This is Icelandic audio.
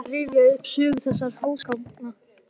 Fer að rifja upp sögu þessara húsgagna.